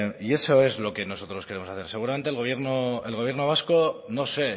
y eso es lo que nosotros queremos hacer seguramente el gobierno vasco no sé